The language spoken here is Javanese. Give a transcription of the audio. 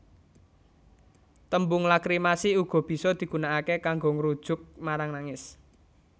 Tembung lakrimasi uga bisa digunakaké kanggo ngrujuk marang nangis